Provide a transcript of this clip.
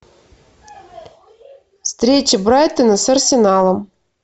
встреча брайтона с арсеналом